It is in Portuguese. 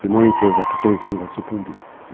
Senão a empresa daqui a três anos vai sucumbir.